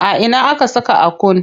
A ina aka saka Akun?